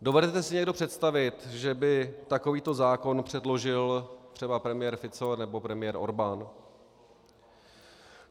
Dovedete si někdo představit, že by takovýto zákon předložil třeba premiér Fico nebo premiér Orbán?